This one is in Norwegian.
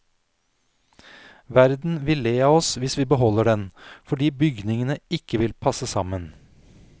Verden vil le av oss hvis vi beholder den, fordi bygningene ikke vil passe sammen.